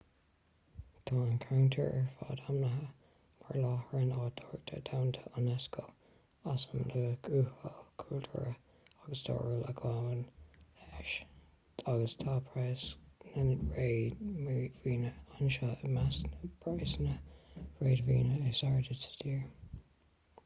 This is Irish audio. tá an ceantar ar fad ainmnithe mar láithreán oidhreachta dhomhanda unesco as an luach uathúil cultúrtha agus stairiúil a ghabhann leis agus tá praghas na réadmhaoine anseo i measc na bpraghsanna réadmhaoine is airde sa tír